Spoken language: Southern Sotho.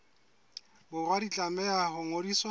borwa di tlameha ho ngodiswa